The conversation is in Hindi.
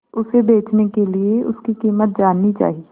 उसे बचने के लिए उसकी कीमत जाननी चाही